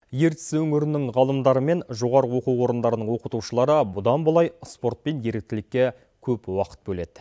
ертіс өңірінің ғалымдары мен жоғарғы оқу орындарының оқытушылары бұдан былай спорт пен еріктілікке көп уақыт бөледі